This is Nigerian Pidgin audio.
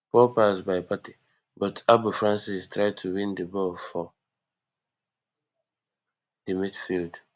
poor pass by partey but abu francis try to win di ball for di midfield